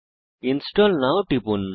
install now তে টিপুন